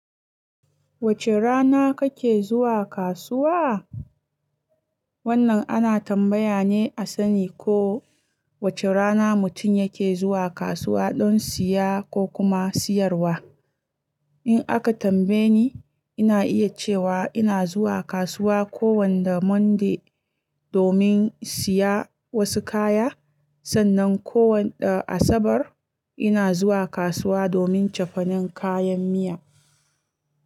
Wace rana kake zuwa kasuwa? Wannan ana tambaya ne a sani ko wace rana mutum yake zuwa kasuwa don siya ko kuma siyarwa. In aka tambaye ni, ina iya cewa ina zuwa kasuwa kowanda Monday domin siya wasu kaya. Sannan kowanda Asabar ina zuwa kasuwa domin cefanen kayan miya.